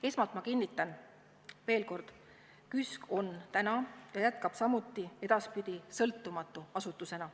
" Esmalt ma kinnitan veel kord, et KÜSK on täna ja jätkab ka edaspidi sõltumatu asutusena.